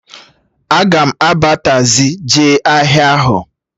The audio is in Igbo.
Aga m aba tazii jee ahịa ahụ